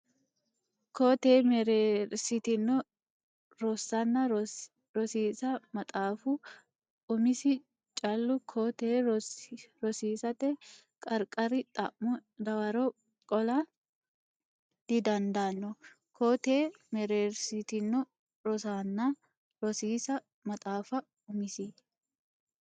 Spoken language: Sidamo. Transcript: Koo tee Mereersitino Rosanna Rosiisa Maxaafu umisi callu koo tee rosiisate qarqari xa mo dawaro qola didandaanno Koo tee Mereersitino Rosanna Rosiisa Maxaafu umisi.